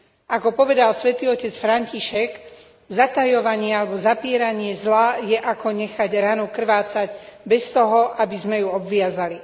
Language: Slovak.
Ako povedal Svätý otec František, zatajovanie alebo zapieranie zla je ako nechať ranu krvácať bez toho, aby sme ju obviazali.